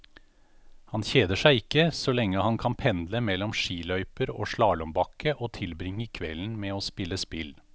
Han kjeder seg ikke, så lenge han kan pendle mellom skiløyper og slalåmbakke og tilbringe kvelden med å spille spill.